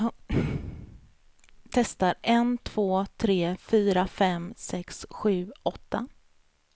Testar en två tre fyra fem sex sju åtta.